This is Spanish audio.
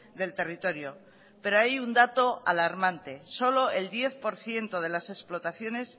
del territorio pero hay un dato alarmante solo el diez por ciento de las explotaciones